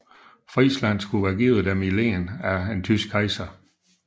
Friesland skulle være givet dem i len af den tyske kejser